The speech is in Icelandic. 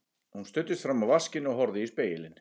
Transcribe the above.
Hún studdist fram á vaskinn og horfði í spegilinn.